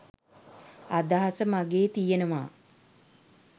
අදහස මගේ තියෙනවා